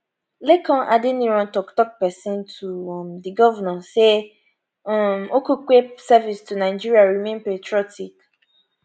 lekan adeniran toktok pesin to um di govnor say um okupe service to nigeria remain patriotic